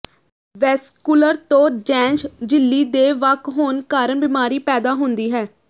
vascular ਤੋਂ ਜੈਂਸ਼ ਝਿੱਲੀ ਦੇ ਵੱਖ ਹੋਣ ਕਾਰਨ ਬਿਮਾਰੀ ਪੈਦਾ ਹੁੰਦੀ ਹੈ